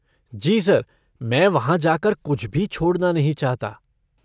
जी sir, मैं वहाँ जाकर कुछ भी छोड़ना नहीं चाहता।